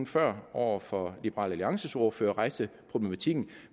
før over for liberal alliances ordfører rejste problematikken